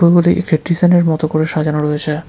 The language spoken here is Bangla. উপরে এক হেক্টিজেনের মতো করে সাজানো রয়েছে।